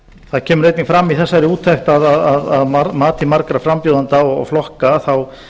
það kemur einnig fram í þessari úttekt að mati margra frambjóðenda og flokka þá